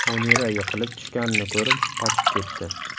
Munira yiqilib tushganini ko‘rib, qochib ketdi.